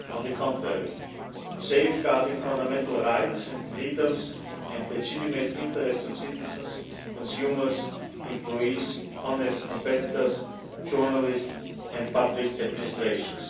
On the contrary, it serves to safeguard fundamental rights and freedoms and the legitimate interest of citizens, consumers, employees, honest competitors, journalists and public administrations.